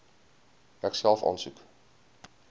ek self aansoek